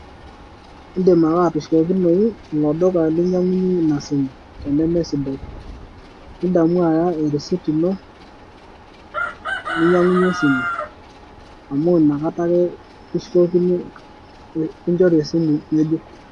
Eedim ake atushukokinoyu ilo duka lainyiang'unyie Ina simu tenemesidai nidamu Aya erisiti ino, ninyiang'unyie esimu amu nakata ake kishukokini kinchori esimu ng'ejuk.